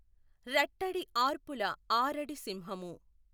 ఱట్టడి ఆర్పుల ఆఱడి సింహము।